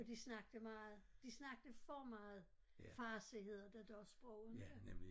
Og de snakkede meget de snakkede for meget farsi hedder det dér sprog inte